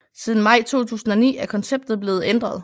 Siden maj 2009 er konceptet blevet ændret